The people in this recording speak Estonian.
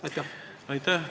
Aitäh!